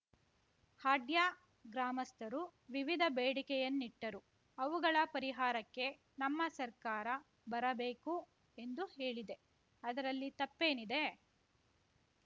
ಹಾಡ್ಯ ಗ್ರಾಮಸ್ಥರು ವಿವಿಧ ಬೇಡಿಕೆಯನ್ನಿಟ್ಟರು ಅವುಗಳ ಪರಿಹಾರಕ್ಕೆ ನಮ್ಮ ಸರ್ಕಾರ ಬರಬೇಕು ಎಂದು ಹೇಳಿದೆ ಅದರಲ್ಲಿ ತಪ್ಪೇನಿದೆ